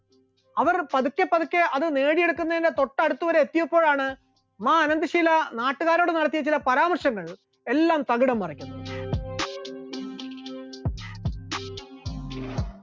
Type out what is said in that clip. അവർ പതുക്കെ പതുക്കെ അത് നേടിയെടുക്കുന്നതിന്റെ തൊട്ട് അടുത്ത് വരെ എത്തിയപ്പോഴാണ് മാ അനന്തശീല നാട്ടുകാരോട് നടത്തിയ ചില പരാമർശങ്ങൾ എല്ലാം തകിടം മറിച്ചു,